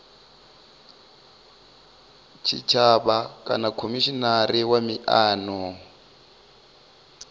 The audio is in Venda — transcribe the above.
tshitshavha kana khomishinari wa miano